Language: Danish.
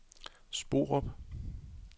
Sporup